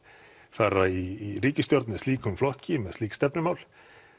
fara í ríkisstjórn með slíkum flokki með slík stefnumál